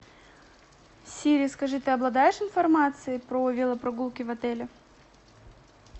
сири скажи ты обладаешь информацией про велопрогулки в отеле